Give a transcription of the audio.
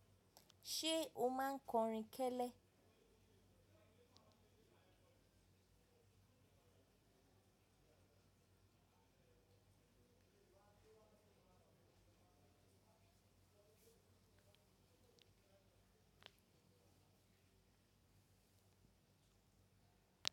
Ṣé o máa ń kọrin kẹ́lẹ́?